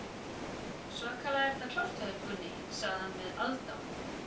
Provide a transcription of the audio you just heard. Svakalega er þetta klárt hjá þér, Gunni, sagði hann með aðdáun.